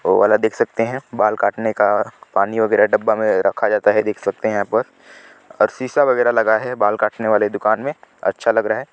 वो वाला देख सकते है बाल काटने का पानी वगेरा डब्बा मे रखा जाता है देख सकते है यहाँ पर और सीसा वगेरा लगा है बाल काटने वाले दुकान मे अच्छा लग लग रहा है।